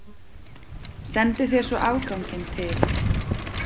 Sendi þér svo afganginn til